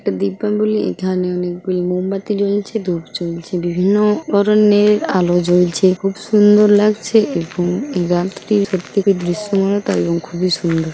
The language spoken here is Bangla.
এখানে অনেকগুলি মোমবাতি জ্বলছে ধুপ জ্বলছে বিভিন্ন-ও ধরনের আলো জ্বলছে খুব সুন্দর লাগছে এবং গানটি প্রত্যেকের দৃশ্যমানতা এবং খুবই সুন্দর